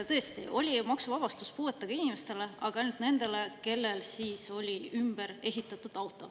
Tõesti oli maksuvabastus puuetega inimestele, aga ainult nendele, kellel on ümberehitatud auto.